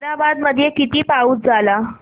ताहराबाद मध्ये किती पाऊस झाला